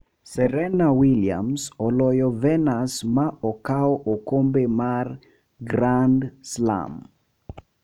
Serena Williams oloyo Venus ma okaw okombe mar Grand Slam.